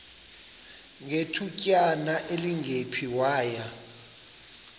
ngethutyana elingephi waya